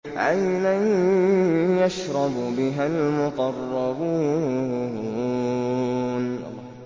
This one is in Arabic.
عَيْنًا يَشْرَبُ بِهَا الْمُقَرَّبُونَ